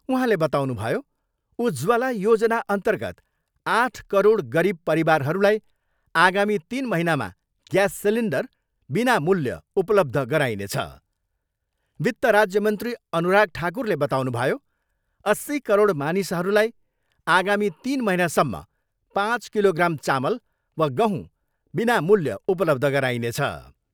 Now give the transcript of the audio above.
उहाँले बताउनुभयो, उज्ज्वला योजना अर्न्तगत आठ करोड गरिब परिवारहरूलाई आगामी तिन महिनामा ग्यास सिलिन्डर बिनामूल्य उपलब्ध गराइनेछ। वित्त राज्य मन्त्री अनुराग ठाकुरले बताउनुभयो, अस्सी करोड मानिसहरूलाई आगामी तिन महिनासम्म पाँच किलोग्राम चामल वा गहूँ विनामूल्य उपलब्ध गराइनेछ।